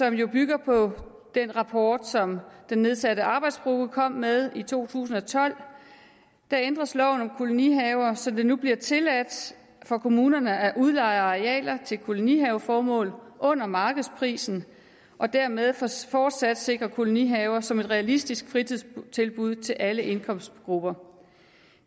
jo bygger på den rapport som den nedsatte arbejdsgruppe kom med i to tusind og tolv ændres loven om kolonihaver så det nu bliver tilladt for kommunerne at udleje arealer til kolonihaveformål under markedsprisen og dermed fortsat fortsat sikre kolonihaver som et realistisk fritidstilbud til alle indkomstgrupper